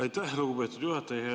Aitäh, lugupeetud juhataja!